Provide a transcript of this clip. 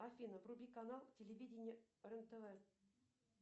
афина вруби канал телевидение рен тв